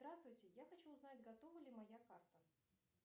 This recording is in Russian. здравствуйте я хочу узнать готова ли моя карта